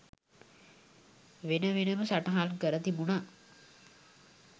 වෙනවෙනම සටහන් කර තිබුණා